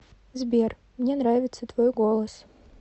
сбер мне нравится твой голос